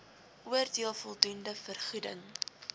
oordeel voldoende vergoeding